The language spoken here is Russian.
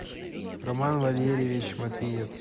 роман валерьевич матвиец